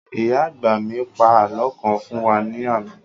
Ìyá àgbà mì pa àlọ́ kan fún wa ní àná